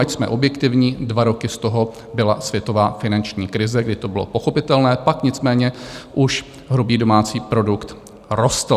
Ať jsme objektivní, dva roky z toho byla světová finanční krize, kdy to bylo pochopitelné, pak nicméně už hrubý domácí produkt rostl.